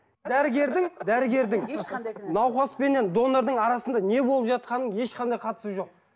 дәрігердің дәрігердің науқаспеннен донордың арасында не болып жатқанын ешқандай қатысы жоқ